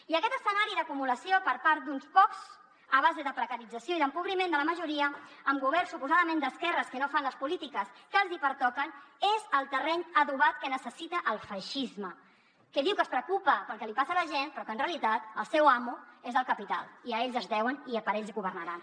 i aquest escenari d’acumulació per part d’uns quants a base de precarització i d’empobriment de la majoria amb governs suposadament d’esquerres que no fan les polítiques que els hi pertoquen és el terreny adobat que necessita el feixisme que diu que es preocupa pel que li passa a la gent però que en realitat el seu amo és el capital i a ell es deuen i per a ell governaran